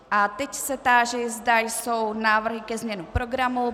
A teď se táži, zda jsou návrhy ke změně programu.